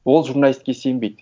ол журналистке сенбейді